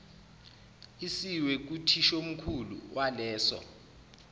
isiwe kuthishomkhulu waleso